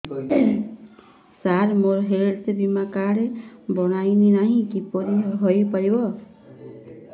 ସାର ମୋର ହେଲ୍ଥ ବୀମା କାର୍ଡ ବଣାଇନାହିଁ କିପରି ହୈ ପାରିବ